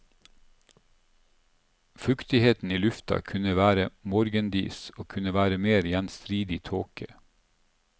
Fuktigheten i lufta kunne være morgendis og kunne være mer gjenstridig tåke.